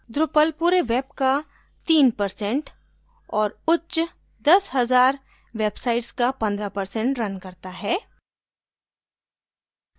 drupal पूरे web का 3 percent और उच्च 15 हज़ार websites का 15 percent रन करता है